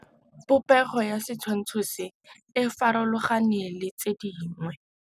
Popêgo ya setshwantshô se, e farologane le tse dingwe.